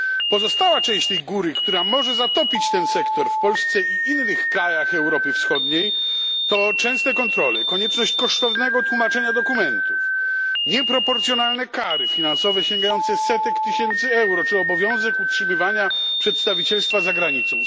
Pozostała część tej góry, która może zatopić ten sektor w Polsce i innych krajach Europy Wschodniej, to częste kontrole, konieczność kosztownego tłumaczenia dokumentów, nieproporcjonalne kary finansowe sięgające setek tysięcy euro czy obowiązek utrzymywania przedstawicielstwa za granicą.